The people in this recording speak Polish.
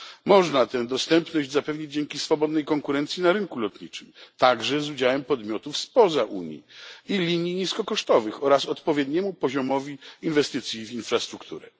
Można tę dostępność zapewnić dzięki swobodnej konkurencji na rynku lotniczym, także z udziałem podmiotów spoza Unii i linii niskokosztowych, oraz odpowiedniemu poziomowi inwestycji w infrastrukturę.